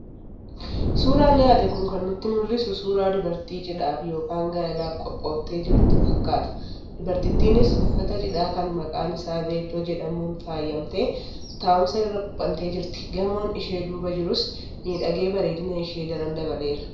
Suuraan dhiyaate kun kan nutti mul'isu suuraa dubartii cidhaaf yookaan gaa'elaaf qophooftee jirtuu fakkaata. Dubartittiinis uffata cidhaa kan maqaan isaa 'velo'jedhamuun faayamtee taa'umsa irra quuphantee jirti. Gamoon ishee duuba jirus miidhagee bareedina ishee daran dabaleera.